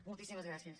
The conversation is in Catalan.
moltíssimes gràcies